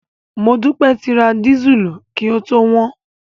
Modúpẹ́ ti ra dísùlù kí ó tó wọ́n.